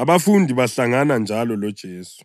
Abafundi Bahlangana Njalo LoJesu